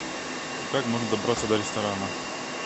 как можно добраться до ресторана